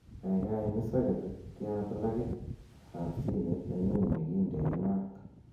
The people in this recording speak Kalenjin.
gaigai imis soketit ya plagit ab simeet nenyun yegiinde maat